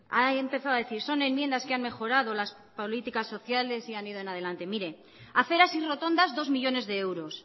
ha empezado a decir son enmiendas que han mejorado las políticas sociales y han ido en adelante mire aceras y rotondas dos millónes de euros